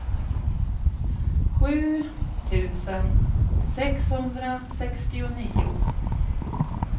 sju tusen sexhundrasextionio